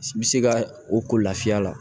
I bɛ se ka o ko lafiya la